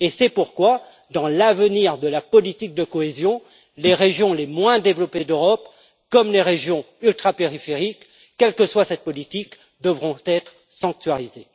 C'est pourquoi, dans l'avenir de la politique de cohésion, les régions les moins développées d'Europe, comme les régions ultrapériphériques, quelle que soit cette politique, devront être sanctuarisées.